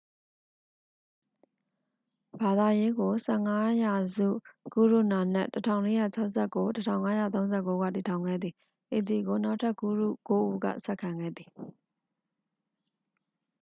ဘာသာရေးကို ၁၅ ရာစုတွ် ဂုရုနာနက် ၁၄၆၉-၁၅၃၉ က တည်ထောင်ခဲ့သည်။ ဤသည်ကို နောက်ထပ်ဂုရု ကိုး ဦးက ဆက်ခံခဲ့သည်။